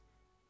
Yaramaz!